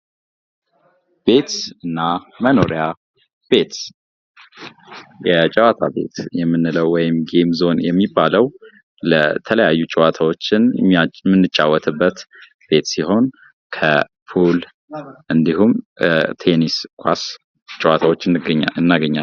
ቤትና መኖሪያ ቤት፦ የጨዋታ ቤት ወይም ጋም ዞን የምንለው የተለውያዩ ጨዋታወችን የምንጫወትበት ቤት ሲሆን ክፑል እንዲሁም ቴኒስ ኳሥ ጨዋታወችን እናገኛለን።